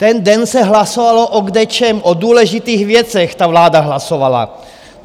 Ten den se hlasovalo o kdečem, o důležitých věcech ta vláda hlasovala.